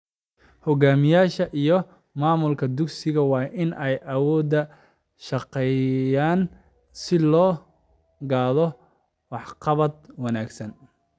Hogaamiyayaasha iyo maamulka dugsigu waa in ay wada shaqeeyaan si loo gaadho waxqabad wanaagsan.